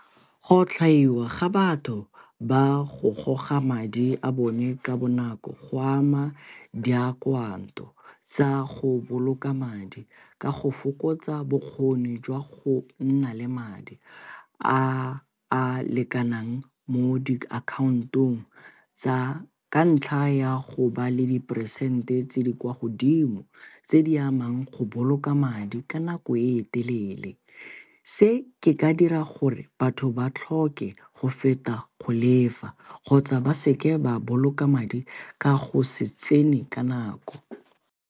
Go otlhaiwa ga batho ba go goga madi a bone ka bonako go ama di tsa go boloka madi ka go fokotsa bokgoni jwa go nna le madi a a lekanang mo diakhantong tsa, ka ntlha ya go ba le diperesente tse di kwa godimo tse di amang go boloka madi ka nako o e telele. Se ke ka dira gore batho ba tlhoke go feta go lefa kgotsa ba seke ba boloka madi ka go se tsene ka nako.